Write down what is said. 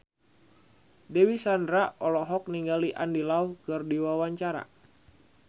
Dewi Sandra olohok ningali Andy Lau keur diwawancara